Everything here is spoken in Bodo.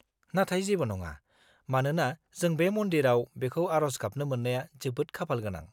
-नाथाय जेबो नङा, मानोना जों बे मन्दिराव बिखौ आरज गाबनो मोन्नाया जोबोद खाफालगोनां।